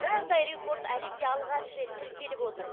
бұндай рекорд әлемде алғаш рет тіркеліп отыр